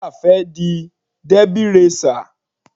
Wura fẹ́ di Derby racer.